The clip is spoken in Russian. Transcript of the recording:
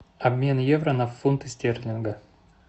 обмен евро на фунты стерлинга